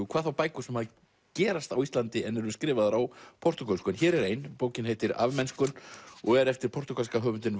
hvað þá bækur sem gerast á Íslandi en eru skrifaðar á portúgölsku en hér er ein bókin heitir og er eftir portúgalska höfundinn